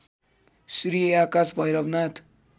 Shri Akash Bhairavnath